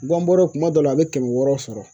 Guwan bɔɔrɔ kuma dɔ la a bɛ kɛmɛ wɔɔrɔ sɔrɔ.